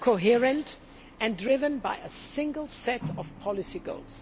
coherent and driven by a single set of policy goals.